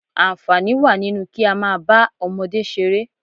Àǹfààní wà nínú kí á máa bá àwọn ọmọdé ṣeré